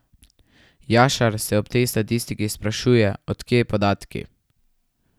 Jašar se ob tej statistiki sprašuje, od kje podatki.